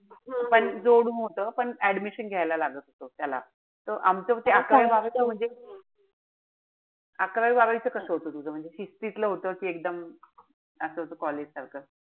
पण जोडून होत. पण admission घ्यायला लागत होत त्याला. त आमचं त अकरावी-बारावी च म्हणजे अकरावी-बारावी च कस होत तुझं म्हणजे? शिस्तीतलं होत कि एकदम असं होत college सारखं?